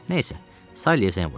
Nə isə, Sallyə zəng vurdum.